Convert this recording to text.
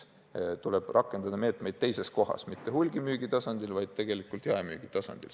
Tuleb rakendada meetmeid mitte hulgimüügi tasandil, vaid tegelikult jaemüügi tasandil.